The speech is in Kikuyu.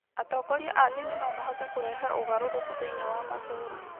Atongoria a ndini no mahote kũrehe ũgarũrũku thĩinĩ wa matũũra.